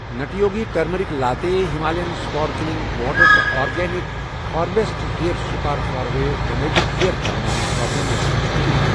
نَٹی Yogi turmeric latte, Himalayan sparkling water تہٕ Organic Harvest hair spa for damaged hair کَر میانہِ shopping لسٹہٕ منٛز ڈیلیٖٹ۔